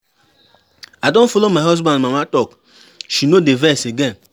I don follow my husband mama talk, she no dey vex again.